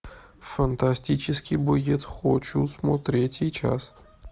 фантастический боец хочу смотреть сейчас